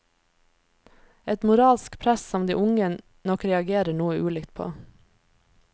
Et moralsk press som de unge nok reagerer noe ulikt på.